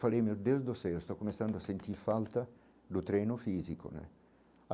Falei meu Deus do céu, estou começando a sentir falta do treino físico né.